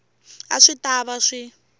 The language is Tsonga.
a swi ta va swi